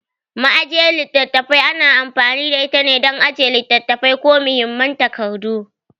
Ma'ajiyar littattafai ana amfani da itane dan ajiye littattafai ko muhimman takardu.